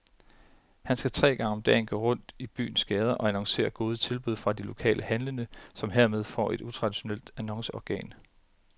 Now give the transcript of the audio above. Han skal tre gange om dagen gå rundt i byens gader og annoncere gode tilbud fra de lokale handlende, som hermed får et utraditionelt annonceorgan.